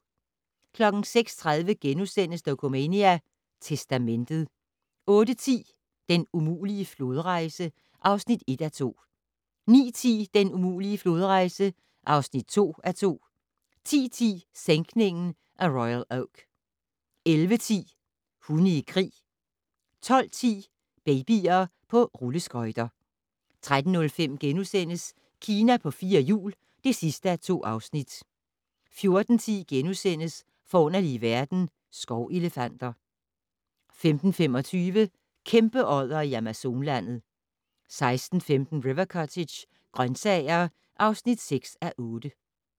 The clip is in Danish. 06:30: Dokumania: Testamentet * 08:10: Den umulige flodrejse (1:2) 09:10: Den umulige flodrejse (2:2) 10:10: Sænkningen af Royal Oak 11:10: Hunde i krig 12:10: Babyer på rulleskøjter 13:05: Kina på fire hjul (2:2)* 14:10: Forunderlige verden - Skovelefanter * 15:25: Kæmpeoddere i Amazonlandet 16:15: River Cottage - grøntsager (6:8)